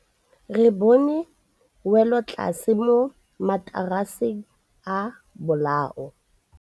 Re bone wêlôtlasê mo mataraseng a bolaô.